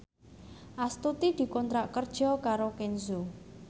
Astuti dikontrak kerja karo Kenzo